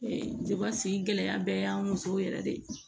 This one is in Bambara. gɛlɛya bɛɛ y'an musow yɛrɛ de ye